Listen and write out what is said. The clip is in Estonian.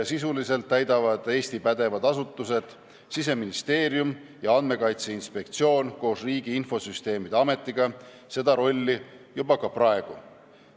Sisuliselt täidavad Eesti pädevad asutused Siseministeerium ja Andmekaitse Inspektsioon koos Riigi Infosüsteemi Ametiga seda rolli juba praegu.